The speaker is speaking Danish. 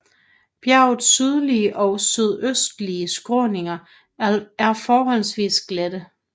Bjergets sydlige og sydøstlige skråninger er forholdsvis glatte